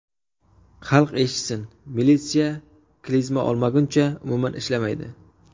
Xalq eshitsin, militsiya klizma olmaguncha umuman ishlamaydi.